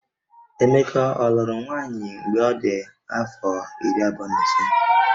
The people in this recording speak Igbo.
Emeka ọ lụrụ nwaanyị mgbe ọ dị afọ iri abụọ na ise?